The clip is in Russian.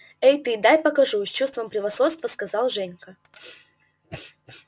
эх ты дай покажу с чувством превосходства сказал женька